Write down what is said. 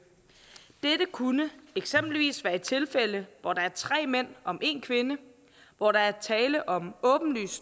dette kunne eksempelvis være tilfældet hvor der er tre mænd om en kvinde hvor der er tale om åbenlyst